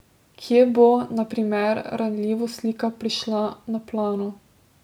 Kje bo, na primer, ranljivost lika prišla na plano?